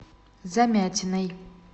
замятиной